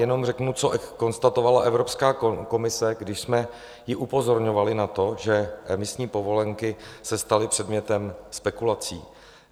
Jenom řeknu, co konstatovala Evropská komise, když jsme ji upozorňovali na to, že emisní povolenky se staly předmětem spekulací.